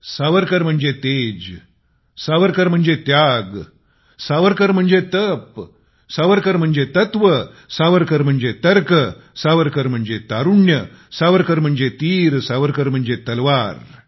सावरकर म्हणजे तेज सावरकर म्हणजे त्याग सावरकर म्हणजे तप सावरकर म्हणजे तत्त्व सावरकर म्हणजे तर्क सावरकर म्हणजे तारुण्य सावरकर म्हणजे तीर सावरकर म्हणजे तलवार